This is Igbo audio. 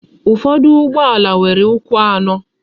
Ụfọdụ ụgbọala nwere ukwu anọ.